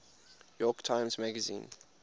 york times magazine